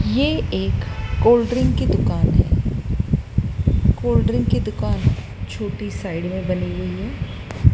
ये एक cold drink की दुकान है कोल्ड ड्रिंक की दुकान छोटी साइड में बनी हुई है।